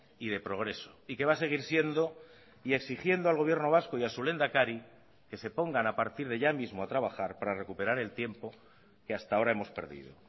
y de progreso y que va a seguir siendo y exigiendo al gobierno vasco y a su lehendakari que se pongan a partir de ya mismo a trabajar para recuperar el tiempo que hasta ahora hemos perdido